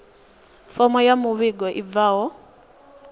fomo ya muvhigo i bvaho